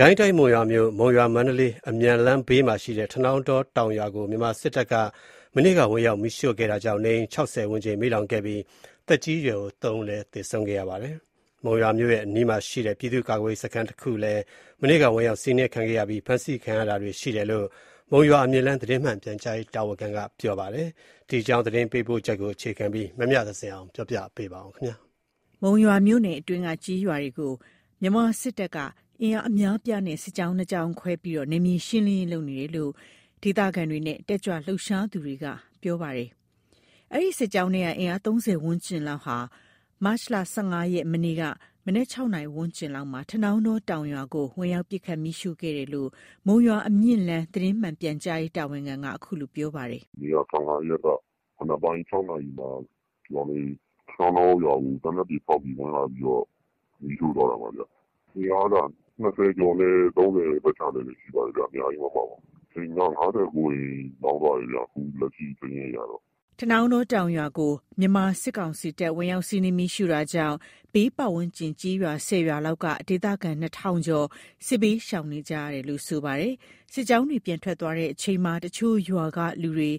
ကိုင်းတိုင်း၊ မုံရွာမြို့ မုံရွာ-မန္တလေး အမြန်လမ်းဘေးမှာရှိတဲ့ ထနောင်းတော တောင်ရွာကို မြန်မာစစ်တပ်က မတ်လ ၁၅ ရက် မနေ့က ဝင်ရောက် မီးရှို့ခဲ့တာကြောင့် နေအိမ် ၆၀ ဝန်းကျင်မီးလောင်ခဲ့ပြီး သက်ကြီးရွယ်အို ၃ ဦး သေဆုံးခဲ့ပါတယ်။ မုံရွာမြို့ရဲ့ အနီးမှာရှိတဲ့ ပြည်သူ့ကာကွယ်ရေး စခန်းတစ်ခုလည်း မနေ့ကဝင်ရောက် စီးနင်းခံခဲ့ရပြီး ဖမ်းဆီးခံရတာတွေ ရှိတယ်လို့ မုံရွာအမြင့်လမ်း သတင်းမှန်ပြန်ကြားရေး တာဝန်ခံက ပြောပါတယ်။ ဒီအကြောင်း သတင်းပေးပို့ချက်ကို အခြေခံပြီး မမြသဇင်အောင်က ပြောပြပါမယ်။ မုံရွာမြို့နယ်အတွင်းက ကျေးရွာတွေကို မြန်မာစစ်တပ်က အင်အားအများအပြားနဲ့ စစ်ကြောင်း ၂ ကြောင်းခွဲပြီး နယ်မြေရှင်းလင်းရေး လုပ်နေတယ်လို့ ဒေသခံတွေနဲ့ တက်ကြွလှုပ်ရှားသူတွေက ပြောပါတယ်။ အဲဒီစစ်ကြောင်းထဲက အင်အား ၃၀ ဝန်းကျင်လောက်က မတ်လ ၁၅ ရက် မနေ့က မနက် ၆ နာရီ ဝန်းကျင်လောက်မှာ ထနောင်းတော တောင်ရွာကို ဝင်ရောက် ပစ်ခတ် မီးရှို့ခဲ့တယ်လို့ မုံရွာအမြင့်လမ်း သတင်းမှန်ပြန်ကြားရေး တာဝန်ခံက ခုလိုပြောပြပါတယ်။ “မနေ့က ၁၅ ရက် မနက်ပိုင်း ၆ နာရီမှာ ထနောင်းတောရွာကို သေနတ်တွေ ဖောက်ပြီး ဝင်လာပြီးတော့ မီးရှို့သွားတာပါဗျ။ အင်အားက ၂၀ ကျော်နဲ့ ၃၀ ပတ်ချာလည်ပဲ ရှိပါတယ်ဗျ။ အများကြီးမပါပါဘူး။ အိမ်က ၅၉ အိမ် လောင်သွားတယ်ဗျ၊ လက်ရှိစာရင်းအရတော့။” ထနောင်းတောတောင်ရွာကို မြန်မာစစ်ကောင်စီတပ် ဝင်ရောက်စီးနင်း မီးရှို့တာကြောင့် ဘေးပတ်ဝန်းကျင်ကျေးရွာ ၁၀ ရွာလောက်က ဒေသခံ ၂,၀၀၀ ကျော် စစ်ဘေးရှောင်နေကြရတယ်လို့ ဆိုပါတယ်။ စစ်ကြောင်းတွေ ပြန်ထွက်သွားချိန်မှာတော့ တချို့ရွာတွေကလူတွေ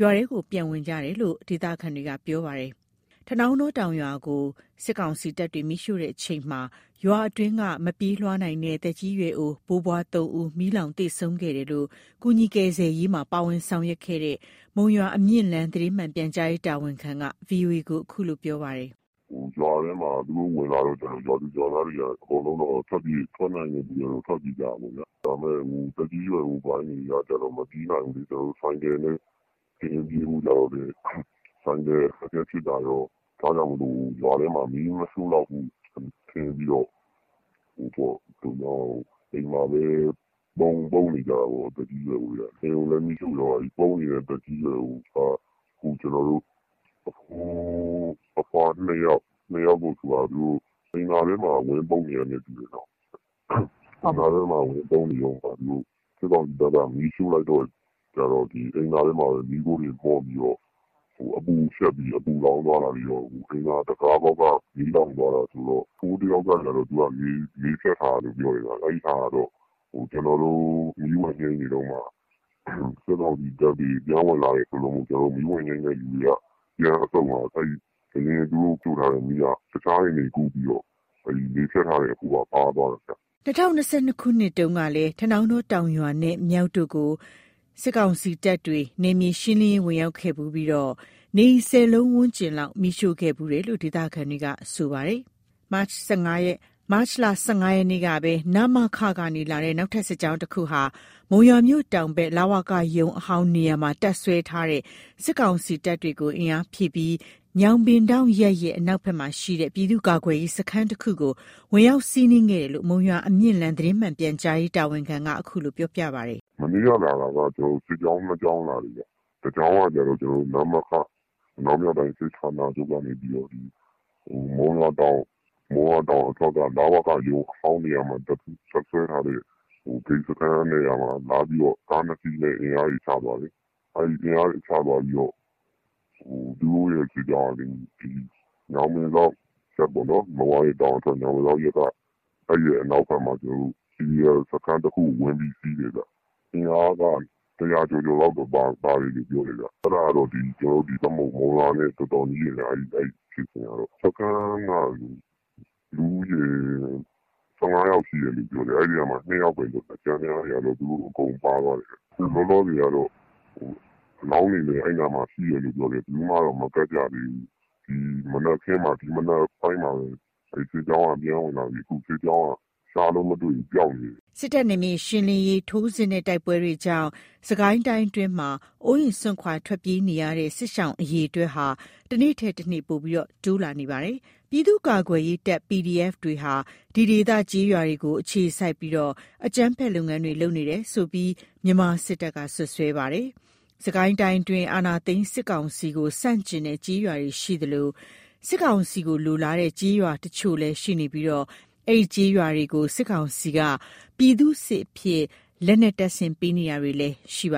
ရွာထဲကို ပြန်ဝင်နေကြတယ်လို့ ဒေသခံတွေက ပြောပါတယ်။ ထနောင်းတောတောင်ရွာကို စစ်ကောင်စီတပ်တွေ မီးရှို့တဲ့အချိန်မှာ ရွာအတွင်းက မပြေးမလွားနိုင်တဲ့ သက်ကြီးရွယ်အို ဘိုးဘွား ၃ ဦး မီးလောင်ပြီး သေဆုံးခဲ့တယ်လို့လည်း ကူညီကယ်ဆယ်ရေးမှာ ပါဝင်ဆောင်ရွက်ခဲ့တဲ့ မုံရွာ အမြင့်လမ်း သတင်းမှန်ပြန်ကြားရေး တာဝန်ခံက VOA ကို ခုလိုပြောပါတယ်။ “ရွာထဲမှာ သူတို့ဝင်လာတော့ အကုန်လုံး ထွက်နိုင်တဲ့သူတွေကတော့ ထွက်ပြေးကြတာပေါ့ဗျာ။ ဒါပေမယ့် သက်ကြီးရွယ်အိုပိုင်းတွေကကျတော့ မပြေးနိုင်ဘူးလေ။ ဆိုင်ကယ်နဲ့ တင်ပြေးဖို့ကျတော့လည်း ဆိုင်ကယ် အခက်အခဲဖြစ်တာရော၊ ဒါကြောင့်မို့ ရွာထဲမှာ မီးမရှို့လောက်ဘူး ထင်ပြီးတော့ အိမ်မှာပဲ ပုန်းနေကြတာပေါ့၊ သက်ကြီးရွယ်အိုတွေက။ အိမ်ကိုလည်း မီးရှို့သွားတယ်။ ပုန်းနေတဲ့ သက်ကြီးရွယ်အိုက ကျွန်တော်တို့ အဘိုးအဘွား ၂ ယောက်။ အဲ့ ၂ ယောက်ကို သူတို့ အိမ်သာထဲမှာ ဝင်ပုန်းနေကြတာနဲ့ တူပါတယ်။ ပုန်းနေတုန်းမှာ စစ်ကောင်စီတပ်က မီးရှို့လိုက်တော့ အိမ်သာထဲမှာပဲ မီးခိုးတွေမွန်ပြီးတော့ အပူရှပ်ပြီး အပူလောင်သွားတာတွေရော၊ အိမ်သာတခါးပေါက်က မီးလောင်သွားတာဆိုတော့။ အဘိုးတစ်ယောက်ကကျတော့ လေဖြတ်ထားတာလို့ပြောတယ်ဗျ။ အဲဒါကတော့ ကျွန်တော်တို့ မီးဝင်ငြိမ်းနေတုန်းမှာ စစ်ကောင်စီတပ်တွေ ပြန်ဝင်လာတယ်ဆိုလို့မို့ ကျွန်တော်တို့ မီးဝင်ငြိမ်းနေတဲ့သူတွေက ပြန်အထွက်မှာ အရင် သူတို့ရှို့ထားတဲ့ မီးက တခြားအိမ်တွေ ကူးပြီးတော့ လေဖြတ်ထားတဲ့ အဘိုးက ပါသွားတာဗျ။” ၂၀၂၂ ခုနှစ်တုန်းကလည်း ထနောင်းတော တောင်ရွာနဲ့ မြောက်တို့ကို မြန်မာစစ်ကောင်စီတပ်တွေက နယ်မြေရှင်းလင်းရေး ဝင်ရောက်ခဲ့ဖူးပြီး နေအိမ် ၁၀ လုံးဝန်းကျင်လောက် မီးရှို့ခဲ့ဖူးတယ်လို့ ဒေသခံတွေက ဆိုပါတယ်။ မတ်လ ၁၅ ရက်နေ့ကပဲ နမခ ကနေ လာတဲ့ နောက်ထပ် စစ်ကြောင်းတစ်ခုက မုံရွာမြို့တောင်ဖက် လဝက ရုံးအဟောင်းနေရာမှာ တပ်စွဲထားတဲ့ စစ်ကောင်စီတပ်တွေကို အင်အားဖြည့်ပြီး ညောင်ပင်ထောင့်ရပ်ရဲ့ အနောက်ဖက်မှာရှိတဲ့ ပြည်သူ့ကာကွယ်ရေး စခန်းတစ်ခုကို ဝင်ရောက် စီးနင်းခဲ့တယ်လို့ မုံရွာ အမြင့်လမ်း သတင်းမှန်ပြန်ကြားရေး တာဝန်ခံက ခုလိုပြောပြပါတယ်။ “မနေ့က လာတာက စစ်ကြောင်း ၂ ကြောင်းလာတယ်ဗျ၊ နောက်တစ်ကြောင်းက နမခ အနောက်မြောက်တိုင်းစစ်ဌာနချုပ်က နေပြီးတော့မှ ဒီမုံရွာတောင်အထွက်က လဝကရုံး အဟောင်းနေရာမှာ တပ်စွဲထားတဲ့ ဂိတ်စခန်းနေရာမှာလာပြီးတော့ ကား ၂ စီးနဲ့ အင်အားတွေ ချထားတယ်။ အင်အားချသွားပြီးတော့ သူတို့ရဲ့ စစ်ကြောင်းက ညောင်ပင်ထောင့်ရပ်ပေါ့၊ မုံရွာရဲ့ တောင်အထွက် ညောင်ပင်ထောင့်ရပ်က အဲ့ဒီရဲ့ အနောက်ဖက်မှာ PDF စခန်းတခုကို သူတို့ ဝင်ပြီးတော့ စီးတယ်ဗျ။ အင်အားက ၁၀၀ ကျော်ကျော်လောက်တော့ ပါတယ်လို့ ပြောတယ်ဗျ။ အဲ့ဒါကတော့ ကျွန်တော်တို့ မုံရွာနဲ့ တော်တော်နီးတယ်ဗျ၊ ဒီဖြစ်စဉ်ကတော့။ စခန်းက လူဦးရေ ၁၅ ယောက် ရှိတယ်လို့ပြောတယ်၊ အဲ့ဒီထဲကမှ ၂ ယောက်ပဲလွတ်တာ၊ ကျန်တဲ့ဟာတွေကတော့ အကုန်ပါသွားတယ်ဗျ။ အခုလောလောဆယ်ကတော့ အလောင်းတွေလဲ အဲ့နားမှာ ရှိတယ်လို့ ပြောတယ်၊ ဘယ်သူမှတော့ မကပ်ကြသေးဘူး။ မနက်ခင်း ဒီမနက်ပိုင်းမှာပဲ အဲ့စစ်ကြောင်းက ပြန်ဝင်လာပြီး အခု အဲ့စစ်ကြောင်းက ပျောက်နေတယ်။” စစ်တပ်ရဲ့ နယ်မြေရှင်းလင်းရေး ထိုးစစ်နဲ့ တိုက်ပွဲတွေကြောင့် စစ်ကိုင်းအတွင်းမှာ အိုးအိမ် စွန့်ခွာ ထွက်ပြေးနေကြရတဲ့ စစ်ရှောင် အရေအတွက်ကတနေ့ထက်တနေ့ ပိုပြီးတိုးလာနေပါတယ်။ ပြည်သူ့ ကာကွယ်ရေးတပ် PDF တွေဟာ ဒီဒေသ ကျေးရွာတွေကို အခြေစိုက်ပြီး အကြမ်းဖက် လုပ်ငန်းတွေ လုပ်နေတယ်ဆိုပြီးတော့လည်း မြန်မာစစ်တပ်က စွပ်စွဲပါတယ်။ စစ်ကိုင်းတိုင်းအတွင်း အာဏာသိမ်းစစ်ကောင်စီကို ဆန့်ကျင်တဲ့ကျေးရွာတွေရှိသလို၊ စစ်ကောင်စီကိုလိုလားတဲ့ ကျေးရွာတချို့လည်းရှိနေပြီး အဲဒီကျေးရွာတွေကို စစ်ကောင်စီက ပြည်သူ့စစ်အဖြစ် လက်နက်တပ်ဆင်ပေးတာတွေလည်းရှိခ